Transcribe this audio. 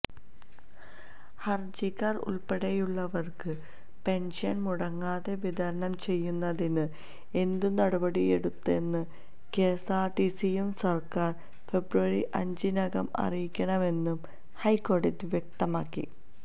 ഹര്ജിക്കാര് ഉള്പ്പെടെയുള്ളവര്ക്ക് പെന്ഷന് മുടങ്ങാതെ വിതരണം ചെയ്യുന്നതിന് എന്തു നടപടിയെടുത്തെന്ന് കെഎസ്ആര്ടിസിയും സര്ക്കാരും ഫെബ്രുവരി അഞ്ചിനകം അറിയിക്കണമെന്നും ഹൈക്കോടതി വ്യക്തമാക്കി